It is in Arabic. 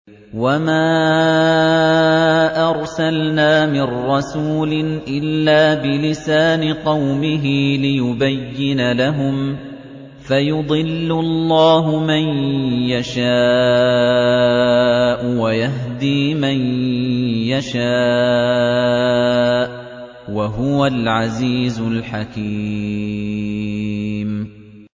وَمَا أَرْسَلْنَا مِن رَّسُولٍ إِلَّا بِلِسَانِ قَوْمِهِ لِيُبَيِّنَ لَهُمْ ۖ فَيُضِلُّ اللَّهُ مَن يَشَاءُ وَيَهْدِي مَن يَشَاءُ ۚ وَهُوَ الْعَزِيزُ الْحَكِيمُ